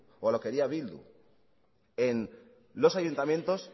o a lo que haría bildu en los ayuntamientos